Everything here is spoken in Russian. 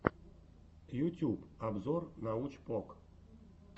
ютьюб обзор научпок